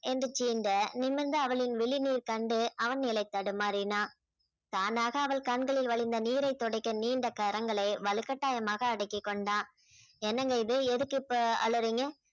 எந்திரிச்சு இந்த நிமிர்ந்து அவளின் விழி நீர் கண்டு அவன் நிலை தடுமாறினான் தானாக அவள் கண்களில் வழிந்த நீரைத் துடைக்க நீண்ட கரங்களை வலுக்கட்டாயமாக அடக்கிக் கொண்டான் என்னங்க இது எதுக்கு இப்ப அழறீங்க